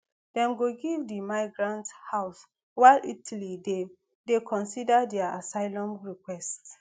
dem go give di migrants house while italy dey dey consider dia asylum requests